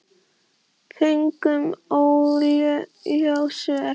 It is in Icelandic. Fengum óljós svör.